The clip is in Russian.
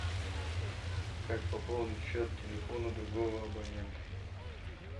как пополнить счет телефона другого абонента